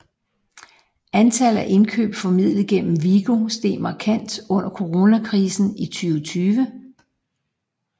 Antallet af indkøb formidlet gennem Vigo steg markant under coronakrisen i 2020